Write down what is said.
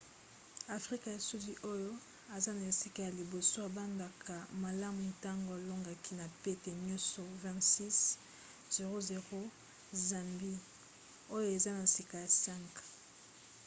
afrika ya sudi oyo aza na esika ya liboso abandaka malamu ntango alongaki na pete nyonso 26 - 00 zambie oyo eza na sika ya 5